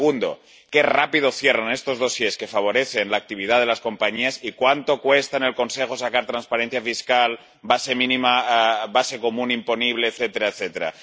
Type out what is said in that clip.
Y segundo qué rápido cierran estos dosieres que favorecen la actividad de las compañías y cuánto cuesta en el Consejo sacar transparencia fiscal, base mínima común imponible, etcétera, etcétera.